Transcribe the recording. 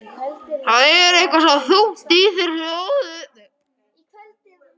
Það er eitthvað svo þungt í þér hljóðið.